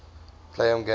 play home games